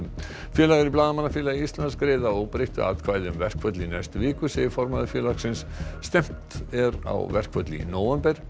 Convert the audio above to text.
félagar í Blaðamannafélagi Íslands greiða að óbreyttu atkvæði um verkföll í næstu viku segir formaður félagsins stefnt er á verkföll í nóvember